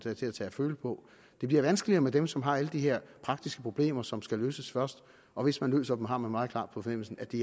er til at tage og føle på det bliver vanskeligere med dem som har alle de her praktiske problemer som skal løses først og hvis man løser dem har man meget klart på fornemmelsen at det